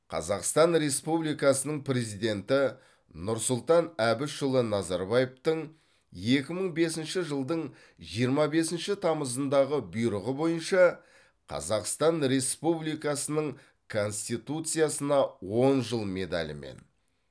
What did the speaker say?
қазақстан республикасының президенті нұрсұлтан әбішұлы назарбаевтың екі мың бесінші жылдың жиырма бесінші тамызындағы бұйрығы бойынша қазақстан республикасының конституциясына он жыл медалімен